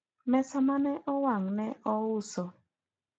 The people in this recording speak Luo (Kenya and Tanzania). mesa mane owang ne ous